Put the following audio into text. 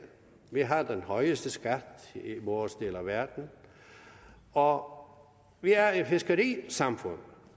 vi har den højeste skat i vores del af verden og vi er et fiskerisamfund